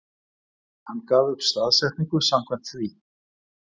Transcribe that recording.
Hann gaf upp staðsetningu samkvæmt því